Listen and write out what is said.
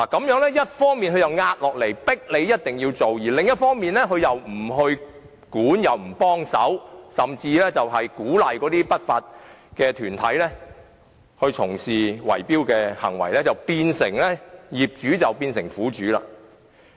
一方面，政府施壓迫業主要進行維修；而另一方面，政府卻不規管違法行為或提供協助，甚至鼓勵不法團體從事圍標行為，令業主變成苦主。